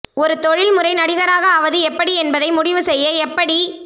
ஒரு தொழில்முறை நடிகராக ஆவது எப்படி என்பதை முடிவு செய்ய எப்படி